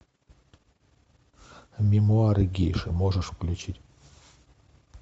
мемуары гейши можешь включить